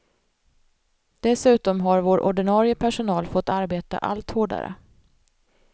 Dessutom har vår ordinarie personal fått arbeta allt hårdare.